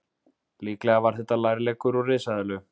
Líklega var þetta lærleggur úr risaeðlu.